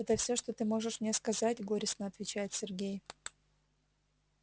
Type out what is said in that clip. это всё что ты можешь мне сказать горестно отвечает сергей